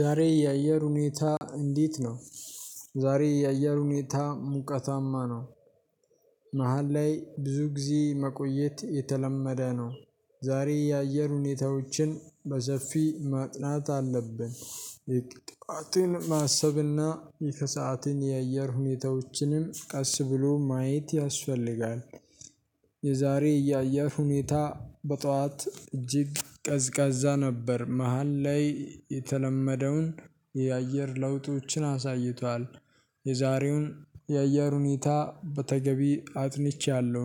ዛሬ የአየር ሁኔታ እንዴት ነው? ዛሬ የአየር ሁኔታ ሙቀታማ ነው። መሃል ላይ ብዙ ጊዜ መቆየት የተለመደ ነው። ዛሬ የአየር ሁኔታዎችን በሰፊ ማጥናት አለብን የጧትን ማሰብና የከሰዓትን የአየር ሁኔታዎችንም ቀስ ብሎ ማየት ያስፈልጋል የዛሬ ያየር ሁኔታ በጧት እጅግ ቀዝቃዛ ነበር መሃል ላይ የተለመደውን የአየር ለውጦችን አሳይቷል። የዛሬውን የአየር ሁኔታ በተገቢ አጥንቻለሁ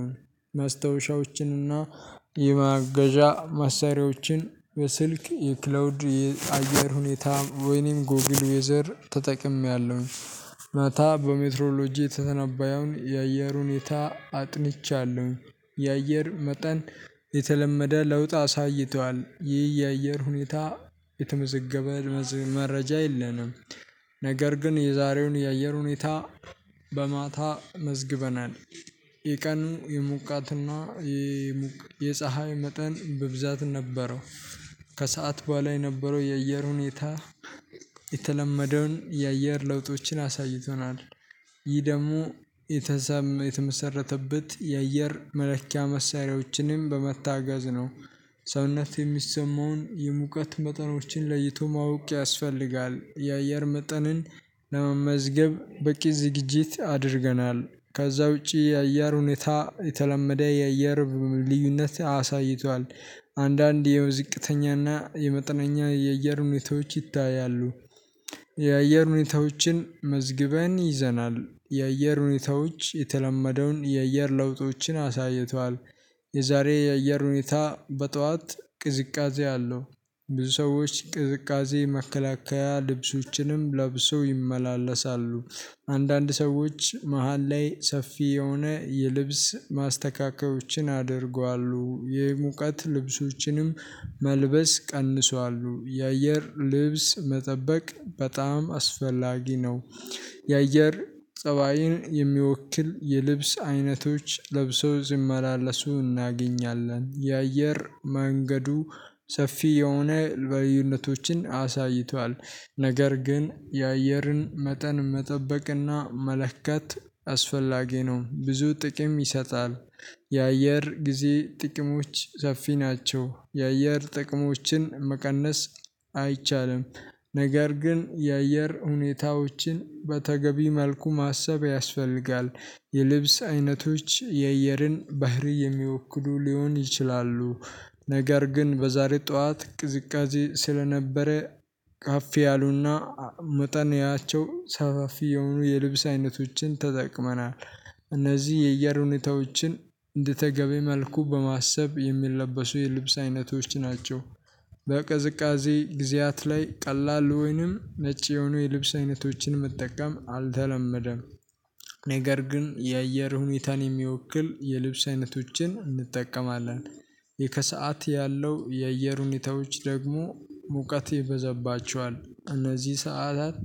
መስታወሻዎችንና የማገዣ መሳሪያዎችን በስልክ የክላውድ የአየር ሁኔታ ወይንም ጎግል ወይዘር ተጠቅሜያለሁኝ። ማታ በሜትሮሎጂ የተተነበየውን የአየር ሁኔታ አጥንቻለሁኝ። የአየር መጠን የተለመደ ለውጥ አሳይቷል ይህ የአየር ሁኔታ የተመዘገበ መረጃ የለንም። ነገር ግን የዛሬውን የአየር ሁኔታ በማታ መዝግበናል። የቀኑ የሙቃትና የፀሀይ መጠን ብብዛት ነበረው ከሰአት በኋላ የነበረው የአየር ሁኔታ የተለመደውን የአየር ለውጦችን አሳይቶናል። ይህ ደግሞ የተመሰረተበት የአየር መለኪያ መሳሪያዎችንም በመታገዝ ነው። ሰውነት የሚሰማውን የሙቀት መጠኖችን ለይቶ ማወቅ ያስፈልጋል የአየር መጠንን ለመመዝገብ በቂ ዝግጅት አድርገናል ከዛ ውጪ የአየር ሁኔታ የተለመደ የአየር ልዩነት አሳይቷል። አንዳንድ የዝቅተኛና የመጠነኛ የአየር ሁኔታዎች ይታያሉ። የአየር ሁኔታዎችን መዝግበን ይዘናል የእየር ሁኔታዎች የተለመደውን የእየር ለውጦችን አሳይቷል። የዛሬ የአየር ሁኔታ በጧት ቅዝቃዜ አለው። ብዙ ሰዎች ቅዝቃዜ መከላከያ ልብሶችንም ለብሶ ይመላለሳሉ አንዳንድ ሰዎች መሃል ላይ ሰፊ የሆነ የልብስ ማስተካከያዎችን አድርጓሉ የሙቀት ልብሶችንም መልበስ ቀንሰዋሉ የአየር ልብስ መጠበቅ በጣም አስፈላጊ ነው። የአየር ፀባይን የሚወክል የልብስ አይነቶች ለብሰው ሲመላለሱ እናገኛለን። የአየር መንገዱ ሰፊ የሆነ በልዩነቶችን አሳይቷል ነገር ግን የአየርን መጠን መጠበቅና መለከት አስፈላጊ ነው ብዙ ጥቅም ይሰጣል የአየር ጊዜ ጥቅሞች ሰፊ ናቸው የአየር ጥቅሞችን መቀነስ አይቻልም። ነገር ግን የአየር ሁኔታዎችን በተገቢ መልኩ ማሰብ ያስፈልጋል የልብስ አይነቶች የእየርን ባህሪ የሚወክሉ ሊሆን ይችላሉ። ነገር ግን በዛሬ ጠዋት ቅዝቃዜ ስለነበረ ካፍ ያሉና መጠን ያቸው ሰፋፊ የሆኑ የልብስ አይነቶችን ተጠቅመናል። እነዚህ የየር ሁኔታዎችን እንደተገቢ መልኩ በማሰብ የሚለበሱ የልብስ አይነቶች ናቸው። በቅዝቃዜ ጊዜያት ላይ ቀላል ወይንም ነጭ የሆኑ የልብስ አይነቶችን መጠቀም አልተለመደ። ነገር ግን የአየር ሁኔታን የሚወክል የልብስ አይነቶችን እንጠቀማለን። የከሰአት ያለው የአየር ሁኔታዎች ደግሞ ሙቀት ይበዘባቸዋል እነዚህ ሰዓታት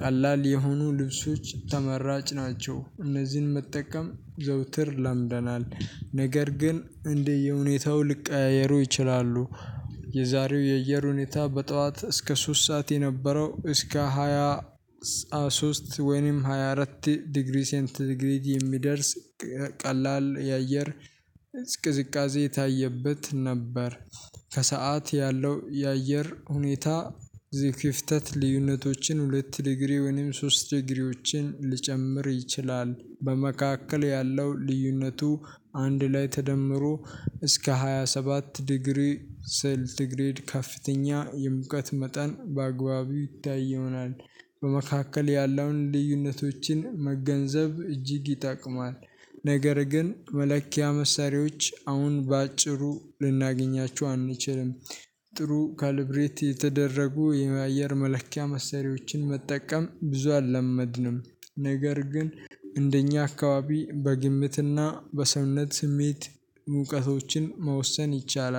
ቀላል የሆኑ ልብሶች ተመራጭ ናቸው እነዚህን መጠቀም ዘውትር ለምደናል ነገር ግን እንዲህ የሁኔታው ልቀያየሩ ይችላ። የዛሬው የየሩኔታ በጠዋት እስከ ሶስት ሰዓት የነበረው እስከ ሃያ ሶስት ወይንም ሃያ አራት ዲግሪ ሴንት ዲግሪድ የሚደርስ ቀላል የአየር ቅዝቃዜ የታየበት ነበር። ከሰአት ያለው የአየር ሁኔታ የክፍተት ልዩነቶችን ሁለት ዲግሪ ወይንም ሶስት ዲግሪዎችን ልጨምር ይችላል። በመካከል ያለው ልዩነቱ አንድ ላይ ተደምሮ እስከ ሃያ ሰባት ዲግሪ ስንቲ ግሬድ ከፍተኛ የምቀት መጠን በአግባቢ ይታይ ይሆናል በመካከል ያለውን ልዩነቶችን መገንዘብ እጅግ ይጠቅማል ነገር ግን መለኪያ መሳሪያዎች አሁን በአጭሩ ልናገኛችሁ አንችልም። ጥሩ ካልብሬት የተደረጉ የአየር መለኪያ መሰሪያዎችን መጠቀም ብዙ አልለመድንም ነገር ግን እንደኛ አካባቢ በግምትና በሰምነት ስሜት ሙቀቶችን መወሰን ይቻላ።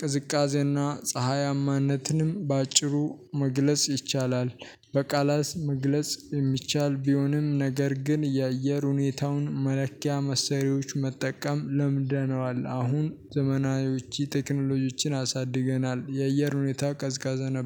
ቅዝቃዜና ፀሀያማነትንም በአጭሩ መግለጽ ይቻላል በቃላት መግለጽ የሚቻል ቢሆንም ነገር ግን የአየር ሁኔታውን መለኪያ መሰሪያዎች መጠቀም ለምደነዋል አሁን ዘመናዊዎች ቴክኖሎጂዎችን አሳድገናል የእየር ሁኔታ ቀዝቃዛ ነበር።